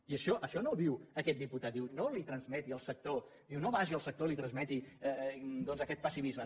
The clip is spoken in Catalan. i això no ho diu aquest diputat diu no li transmeti al sector no vagi al sector i li transmeti doncs aquest pessimisme